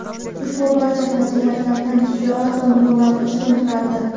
Ushbu barcha fazilatlaridan shijoat va muruvvati ustun turardi.